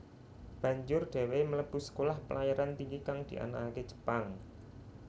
Banjur dheweke mlebu Sekolah Pelayaran Tinggi kang dianakake Jepang